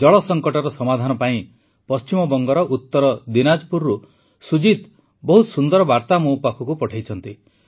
ଜଳ ସଙ୍କଟର ସମାଧାନ ପାଇଁ ପଶ୍ଚିମବଙ୍ଗର ଉତର ଦୀନାଜ୍ପୁରରୁ ସୁଜିତ୍ ଜୀ ବହୁତ ସୁନ୍ଦର ବାର୍ତା ମୋ ପାଖକୁ ପଠାଇଛନ୍ତି